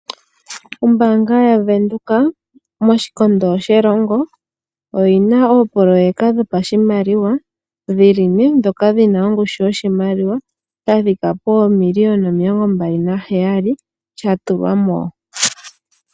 Ombaanga yaWindhoek moshikondo shelongo oyi na oopoloyeka dho pa shimaliwa dhi li ne dhina ongushu yoshimaliwa sha thika poomiliyona omilongo mbali na heyali sha tulwa mo.